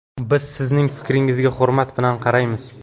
Biz sizning fikringizga hurmat bilan qaraymiz.